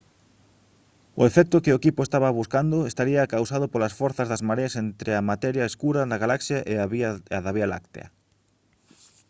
o efecto que o equipo estaba buscando estaría causado polas forzas das mareas entre a materia escura da galaxia e a da vía láctea